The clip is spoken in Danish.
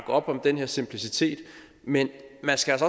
op om den her simplicitet men man skal